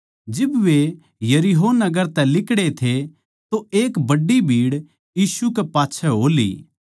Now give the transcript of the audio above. जिब वे यरीहो नगर तै लिकड़ै थे तो एक बड्डी भीड़ यीशु कै पाच्छै हो ली